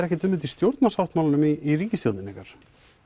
ekkert um þetta í stjórnarsáttmálanum í ríkistjórninni ykkar